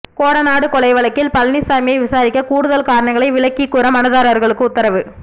கோடநாடு கொலை வழக்கில் பழனிசாமியை விசாரிக்க கூடுதல் காரணங்களை விளக்கிக் கூற மனுதாரர்களுக்கு உத்தரவு